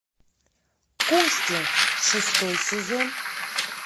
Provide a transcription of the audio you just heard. кости шестой сезон